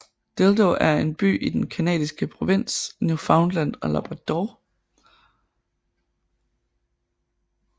Dildo er en by i den canadiske provins Newfoundland og Labrador